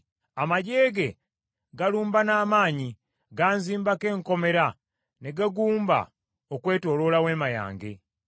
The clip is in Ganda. Amaggye ge galumba n’amaanyi; ganzimbako enkomera ne gagumba okwetooloola weema yange.